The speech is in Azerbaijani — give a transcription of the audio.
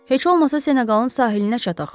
Heç olmasa Seneqalın sahilinə çataq.